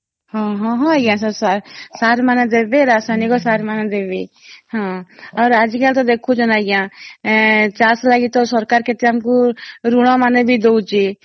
ହଁ ହଁ ହଁ ଆଂଜ୍ଞା sir ମାନେ ଦେବେ ରାସାୟନିକ ସାର ମାନେ ଦେବେ ହଁ ଔର ଆଜି କାଲି ତ ଦେଖୁଛନ ଆଂଜ୍ଞା ଚାଷ ଲାଗି ତ ସରକାର କେତେ ଆମକୁ ଋଣ ମାନେ ବି ଦଉଚି